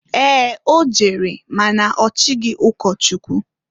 Ee! O jere ma na ochighi ụkọchụkwụ.